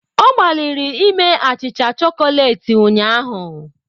Ọ gbalịrị ime achịcha chokoleti ụnyahụ.